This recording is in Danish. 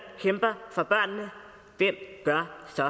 kæmper for børnene hvem gør så